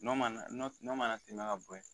N'o mana n'o mana tɛmɛ ka bo ye